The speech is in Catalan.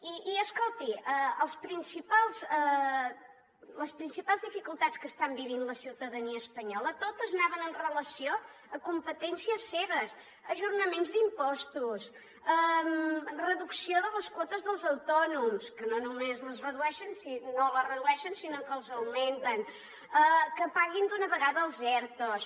i escolti les principals dificultats que està vivint la ciutadania espanyola totes anaven amb relació a competències seves ajornaments d’impostos reducció de les quotes dels autònoms que no només no les redueixen sinó que les augmenten que paguin d’una vegada els ertos